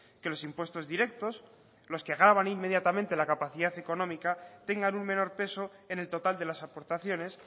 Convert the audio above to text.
que los impuestos directos los que gravan inmediatamente la capacidad económica tengan un menor peso en el total de las aportaciones